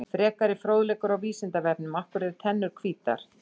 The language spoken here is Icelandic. Frekari fróðleikur á Vísindavefnum: Af hverju eru tennur hvítar?